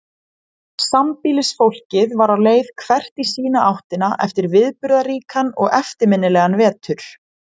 Sambýlisfólkið var á leið hvert í sína áttina eftir viðburðaríkan og eftirminnilegan vetur.